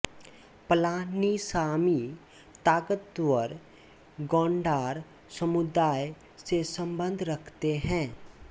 पलानीसामी ताकतवर गौंडार समुदाय से सम्बन्ध रखते हैं